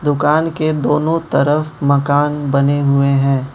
दुकान के दोनों तरफ मकान बने हुए हैं।